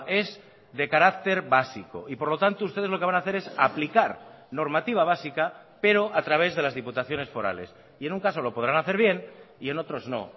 es de carácter básico y por lo tanto ustedes lo que van a hacer es aplicar normativa básica pero a través de las diputaciones forales y en un caso lo podrán hacer bien y en otros no